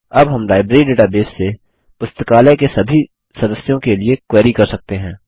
अब हम library database से पुस्तकालय के सभी सदस्यों के लिए क्वेरी कर सकते हैं